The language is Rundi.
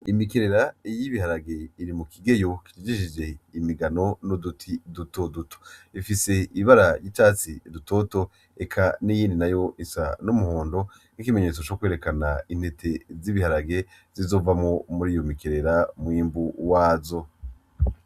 Imikerera y'ibiharage iri mu kigeyo kijishishije imigano n'uduti duto duto ifise ibara ry'icatsi dutoto eka n'iyindi nayo isa n'umuhondo nk'ikimenyetso C'ukwerekana intete z'ibiharage zizova mur'iyo mikerera n'umwimbu wayo.